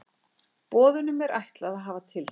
Boðunum er ætlað að hafa tiltekin áhrif.